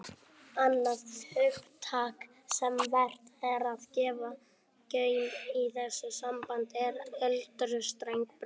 Annað hugtak sem vert er að gefa gaum í þessu sambandi er aldurstengdar breytingar.